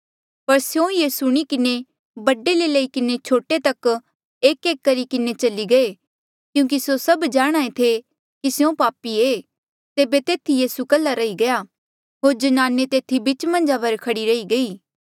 पर स्यों ये सुणी किन्हें बडे ले लई किन्हें छोटे तक एकएक करी किन्हें चली गये क्यूंकि स्यों जाणहां ऐें थे कि स्यों पापी ऐें तेबे तेथी यीसू कल्हा रही गया होर ज्नाने तेथी बीचा मन्झ खड़ी रही गयी